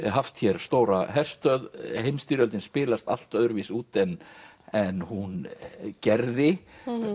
haft hér stóra herstöð heimsstyrjöldin spilast allt öðruvísi út en en hún gerði